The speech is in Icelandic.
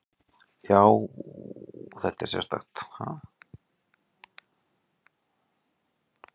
Já, þetta er sérstakt.